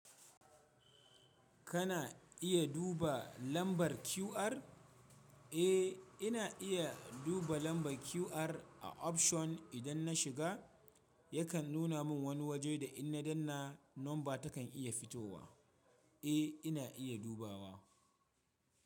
Kana iya duba lambar QR? Eh ina iya duba lambar QR a option idan na shiga yakan nuna min wani waje da in na danna number takan iya fitowa. Eh ina iya dubawa.